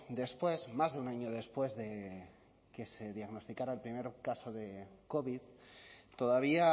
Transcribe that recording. después más de un año después de que se diagnosticara el primer caso de covid todavía